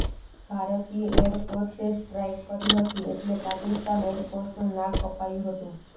ભારતીય એરફોર્સે સ્ટ્રાઇક કરી હતી એટલે પાકિસ્તાન એરફોર્સનું નાક કપાયું હતું